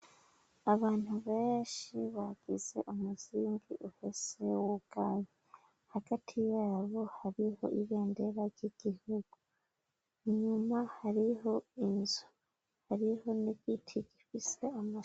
abantu benshi bagize umuzingi ufise wugaye hagati yabo hariho ibendera ry'igihugu inyuma hariho inzu hariho n'igiti gifise amashami